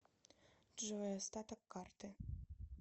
джой остаток карты